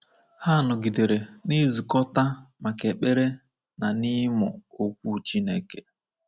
Ha nọgidere na-ezukọta maka ekpere na ịmụ Okwu Chineke.